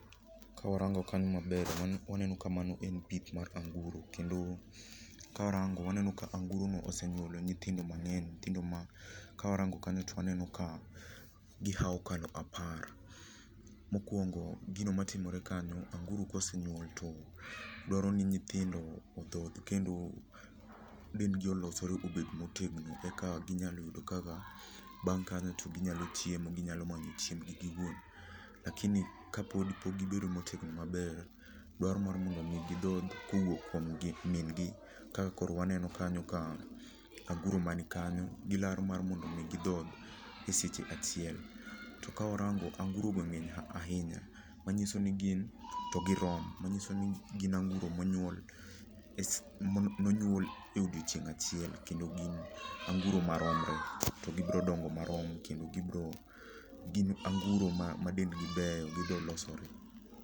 Kawarango kanyo maber to waneno ka mano en pith mar anguro kendo karango waneno ka anguro moko ose nyuolo nyithindo mang'eny nyithindo ma kawarango to waneno ka gihawo kar apar. Mokuongo gino matimore kanyao, anguro ka osenyuol to dwaro ni nyithindo odhodh kendo min gi olosre obed motegno eka ginyalo yudo kaka bang kanyo to ginyalo chiemo ginyalo manyo kaka gichiemo lakini ka pok gibedo motegno maber dwaro mana gi dhodh kowuok kuom min gi ka koro waneno kanyo ka anguro man kanyo gilaro mar mondo mi gidhodh eseche achiel to ka warango anguro go ng'eny ahinya manyiso ni ngin anguro monyuol e odiechieng' achielm kendo gin anguro maromre to gidongo marom kendo gibiro gin anguro madendgi beyo, gibiro losore.